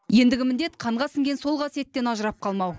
ендігі міндет қанға сіңген сол қасиеттен ажырап қалмау